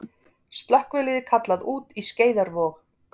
Slökkvilið kallað út í Skeiðarvog